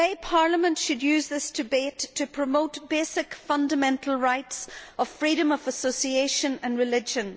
Parliament should use this debate today to promote the fundamental rights of freedom of association and religion.